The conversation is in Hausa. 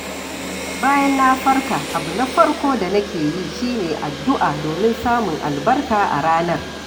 Bayan na farka, abu na farko da nake yi shi ne addu’a domin samun albarka a ranar.